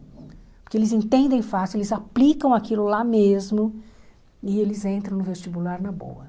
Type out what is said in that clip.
Porque eles entendem fácil, eles aplicam aquilo lá mesmo e eles entram no vestibular na boa.